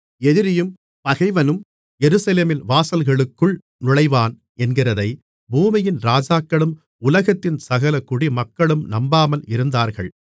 எதிரியும் பகைவனும் எருசலேமின் வாசல்களுக்குள் நுழைவான் என்கிறதைப் பூமியின் ராஜாக்களும் உலகத்தின் சகல குடிமக்களும் நம்பாமல் இருந்தார்கள்